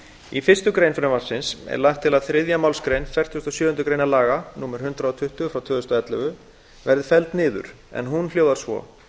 í fyrstu grein frumvarpsins er lagt til að þriðja málsgrein fertugustu og sjöundu greinar laga númer hundrað og tuttugu tvö þúsund og ellefu verði felld niður en hún hljóðar svo